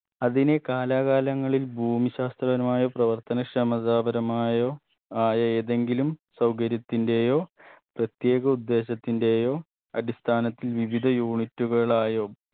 അതിനെ കാലാകാലങ്ങളിൽ ഭൂമിശാസ്ത്രപരമായ പ്രവർത്തനക്ഷമതാ പരമായോ ആയ ഏതെങ്കിലും സൗകര്യത്തിന്റെയോ പ്രത്യേക ഉദ്ദേശത്തിന്റെയോ അടിസ്ഥാനത്തിൽ വിവിധ unit കളായോ